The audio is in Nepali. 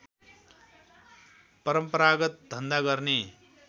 परम्परागत धन्धा गर्ने